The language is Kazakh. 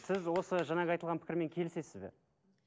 сіз осы жаңағы айтылған пікірмен келісесіз бе